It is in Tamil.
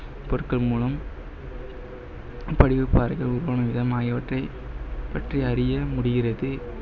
பொருட்கள் மூலம் படிவப்பாறைகள் உருவான விதம் ஆகியவற்றை பற்றி அறியமுடிகிறது